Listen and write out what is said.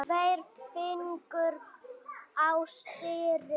Tveir fingur á stýri.